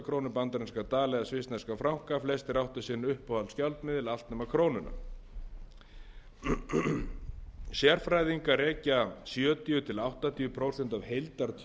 krónur bandaríska dali eða svissneska franka flestir áttu sinn uppáhaldsgjaldmiðil allt nema krónuna sérfræðingar rekja sjötíu til áttatíu prósent af heildartjóninu í